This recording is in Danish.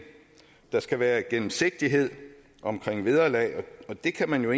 der skal være gennemsigtighed omkring vederlag det kan man jo